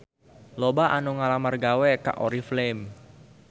Loba anu ngalamar gawe ka Oriflame